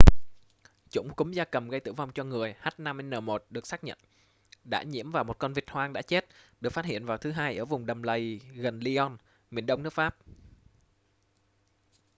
chủng cúm gia cầm gây tử vong cho người h5n1 được xác nhận đã nhiễm vào một con vịt hoang đã chết được phát hiện vào thứ hai ở vùng đầm lầy gần lyon miền đông nước pháp